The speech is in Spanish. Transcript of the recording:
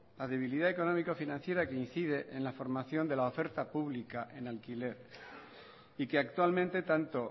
la debilidad económico financiera que incide en la formación de la oferta pública en alquiler y que actualmente tanto